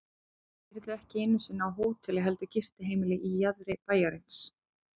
Ég yrði ekki einu sinni á hóteli heldur gistiheimili í jaðri bæjarins.